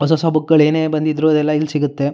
ಹೊಸ ಹೊಸ ಬುಕ್ಗಳು ಏನೇ ಬಂದಿದ್ರು ಅದೆಲ್ಲ ಇಲ್ ಸಿಗುತ್ತೆ--